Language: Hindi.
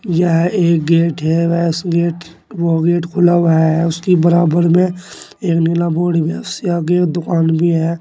यह एक गेट है वैस गेट वो गेट खुला हुआ है उसकी बराबर में एक नीला बोर्ड भी है उससे आगे दुकान भी है।